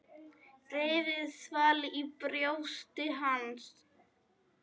Reiðin svall í brjósti hans.